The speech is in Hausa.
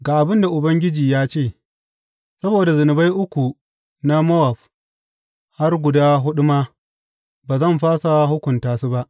Ga abin da Ubangiji ya ce, Saboda zunubai uku na Mowab, har guda huɗu ma, ba zan fasa hukunta su ba.